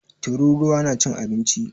Tururuwa na cin abinci.